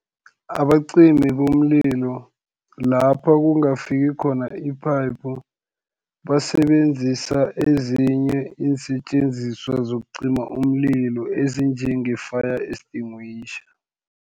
Abacimi bomlilo lapho kungafiki khona iphayiphu, basebenzisa ezinye iinsetjenziswa zokucima umlilo ezinje nge-fire extinguisher.